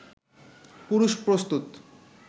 পুরুষ প্রস্তুত